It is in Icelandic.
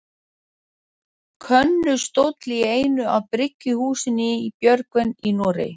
Könnustól í einu af bryggjuhúsunum í Björgvin í Noregi.